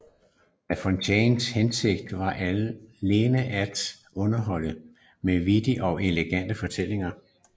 La Fontaines hensigt var alene at underholde med vittige og elegante fortællinger